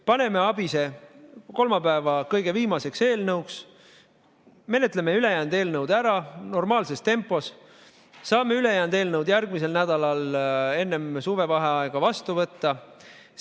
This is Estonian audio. Paneme ABIS‑e kolmapäeva kõige viimaseks eelnõuks, menetleme ülejäänud eelnõud ära normaalses tempos ja saame ülejäänud eelnõud järgmisel nädalal enne suvevaheaega vastu võtta.